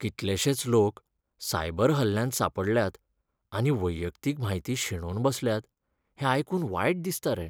कितलेशेच लोक सायबर हल्ल्यांत सांपडल्यात आनी वैयक्तीक म्हायती शेणोवन बसल्यात हें आयकून वायट दिसता रे.